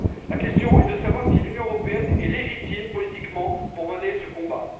La question est de savoir si l'Union européenne est légitime politiquement pour mener ce combat.